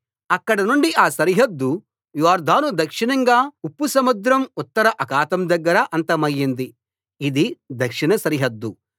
అక్కడనుండి ఆ సరిహద్దు యొర్దాను దక్షిణంగా ఉప్పు సముద్రం ఉత్తర అఖాతం దగ్గర అంతమయింది ఇది దక్షిణ సరిహద్దు